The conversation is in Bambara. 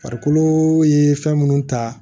Farikolo ye fɛn munnu ta